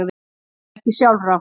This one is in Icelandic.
Að vera ekki sjálfrátt